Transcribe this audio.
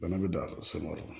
Bana bɛ dan so yɔrɔ la